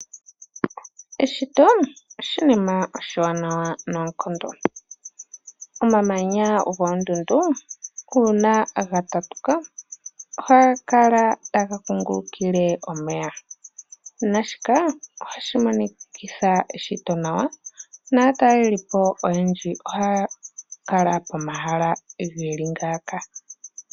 Eshito olyo oshinima oshiwanawa noonkondo. Omamanya goondundu, uuna ga tatuka, ohaga kala taga kungulukile omeya, naashika ohashi monikitha eshito nawa. Aatalelipo wo oyendji ohaya kala pomahala ge li ngaaka.